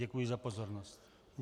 Děkuji za pozornost.